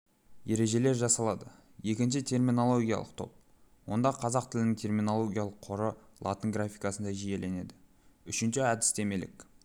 ережелер жасалады екінші терминологиялық топ онда қазақ тілінің терминологиялық қоры латын графикасында жүйеленеді үшінші әдістемелік